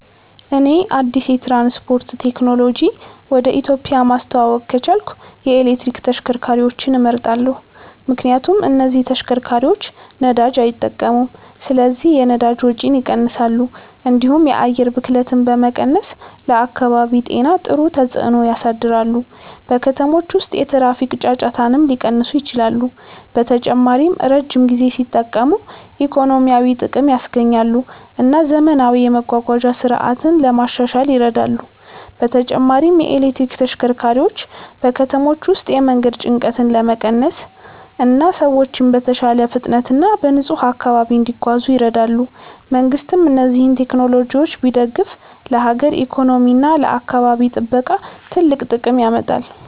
እኔ አዲስ የትራንስፖርት ቴክኖሎጂ ወደ ኢትዮጵያ ማስተዋወቅ ከቻልኩ የኤሌክትሪክ ተሽከርካሪዎችን እመርጣለሁ። ምክንያቱም እነዚህ ተሽከርካሪዎች ነዳጅ አይጠቀሙም ስለዚህ የነዳጅ ወጪን ይቀንሳሉ፣ እንዲሁም የአየር ብክለትን በመቀነስ ለአካባቢ ጤና ጥሩ ተጽዕኖ ያሳድራሉ። በከተሞች ውስጥ የትራፊክ ጫጫታንም ሊቀንሱ ይችላሉ። በተጨማሪም ረጅም ጊዜ ሲጠቀሙ ኢኮኖሚያዊ ጥቅም ያስገኛሉ እና ዘመናዊ የመጓጓዣ ስርዓት ለማሻሻል ይረዳሉ። በተጨማሪም የኤሌክትሪክ ተሽከርካሪዎች በከተሞች ውስጥ የመንገድ ጭንቀትን ለመቀነስ እና ሰዎች በተሻለ ፍጥነት እና በንጹህ አካባቢ እንዲጓዙ ይረዳሉ። መንግሥትም እነዚህን ቴክኖሎጂዎች ቢደግፍ ለሀገር ኢኮኖሚ እና ለአካባቢ ጥበቃ ትልቅ ጥቅም ያመጣል።